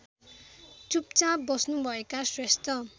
चुपचाप बस्नुभएका श्रेष्ठ